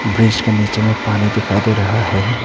Bridge के नीचे में पानी दिखाई दे रहा है।